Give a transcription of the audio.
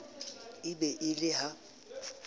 e be e le ha